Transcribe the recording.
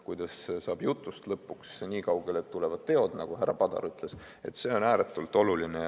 Kuidas jõuda jutust lõpuks nii kaugele, et tulevad teod, nagu härra Padar ütles – see on ääretult oluline.